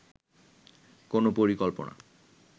কোনো পরিকল্পনা